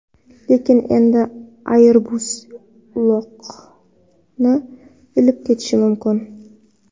Lekin endi Airbus uloqni ilib ketishi mumkin.